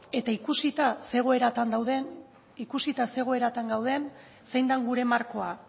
eta ikusita zein egoeran dagoen ikusita zein egoeran dagoen zein den gure markoa